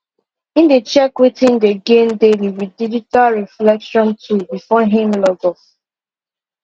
him dey check wetin him dey gain daily with digital reflection tool before him log off